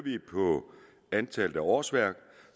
antallet af årsværk